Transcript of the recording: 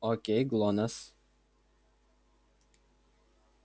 окей глонассс